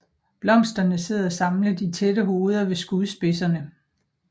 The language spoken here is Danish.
Blomsterne sidder samlet i tætte hoveder ved skudspidserne